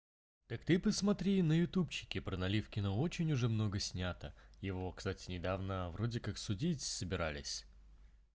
так ты посмотри на ютубчике про наливкина очень уже много снято его кстати недавно вроде как судить собирались